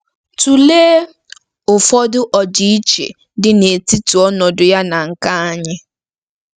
Tụlee ụfọdụ ọdịiche dị n'etiti ọnọdụ ya na nke anyị.